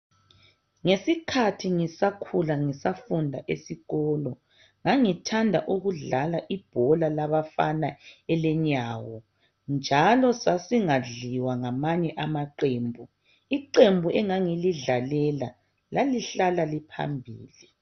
Ngesikhathi ngisakhula ngisafunda esikolo ngangithanda ukudlala ibhola labafana elenyawo njalo sasingadliwa ngamanye amaqembu. Iqembu engangilidlalela lalihlala liphambili.